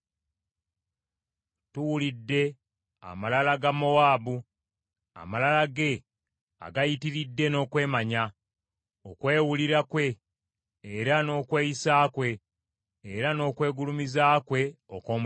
“Tuwulidde amalala ga Mowaabu amalala ge agayitiridde n’okwemanya, okwewulira kwe era n’okweyisa kwe era n’okwegulumiza kwe okw’omutima.